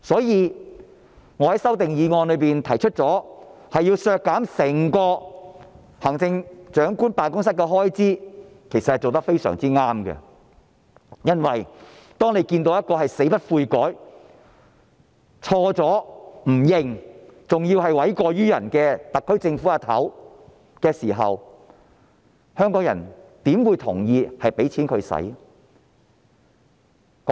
因此，我在修正案提出削減整個行政長官辦公室的開支是非常正確的，因為當你看到一個死不悔改，做錯但不承認，還要諉過於人的特區政府首長，香港人怎會同意把錢給她？